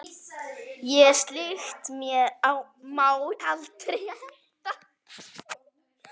Og slíkt má aldrei henda.